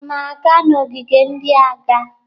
Unu na-aga n'ogige ndị agha?